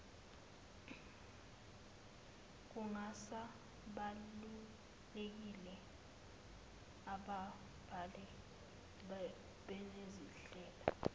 kungasabalulekile ababhali banezindlela